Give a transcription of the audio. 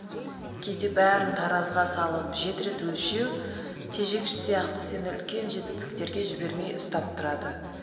кейде бәрін таразыға салып жеті рет өлшеу тежегіш сияқты сені үлкен жетістіктерге жібермей ұстап тұрады